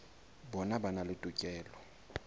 bona ba na le tokelo